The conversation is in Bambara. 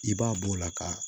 I b'a b'o la ka